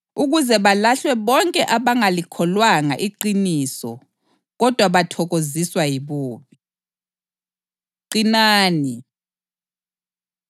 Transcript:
ukuze balahlwe bonke abangalikholwanga iqiniso kodwa bathokoziswa yibubi. Qinani